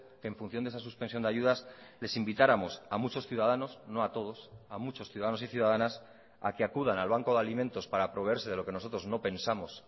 que en función de esa suspensión de ayudas les invitáramos a muchos ciudadanos no a todos a muchos ciudadanos y ciudadanas a que acudan al banco de alimentos para proveerse de lo que nosotros no pensamos